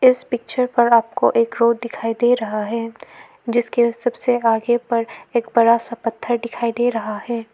इस पिक्चर पर आपको एक रोड दिखाई दे रहा है जिसके सबसे आगे पर एक बड़ा सा पत्थर दिखाई दे रहा है।